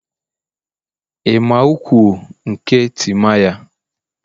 Ị ma ukwu; nke Timaya?